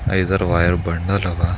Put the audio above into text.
ಐದಾರು wire bundle ಅವ